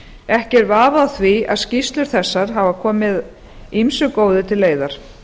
ekki er að á því að skýrslur þessar hafa komið ýmsu góðu til leiðar